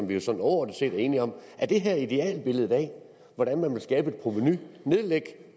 vi jo sådan overordnet set er enige om er det her idealbilledet af hvordan man vil skabe et provenu at nedlægge